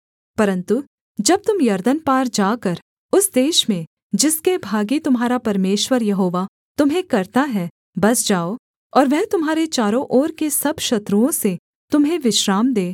परन्तु जब तुम यरदन पार जाकर उस देश में जिसके भागी तुम्हारा परमेश्वर यहोवा तुम्हें करता है बस जाओ और वह तुम्हारे चारों ओर के सब शत्रुओं से तुम्हें विश्राम दे